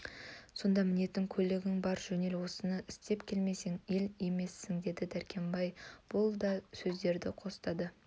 сонда мінетін көлігің бар жөнел осыны істеп келмесең ел емессің деді дәркембай да бұл сөздерді қостады